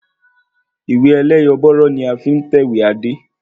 Ìwé ẹlẹ́yọ̀bọ̀rọ́ ni a fi tẹ̀wé Adé